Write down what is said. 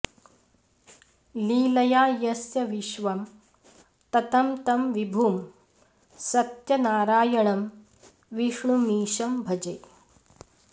लीलया यस्य विश्वं ततं तं विभुं सत्यनारायणं विष्णुमीशं भजे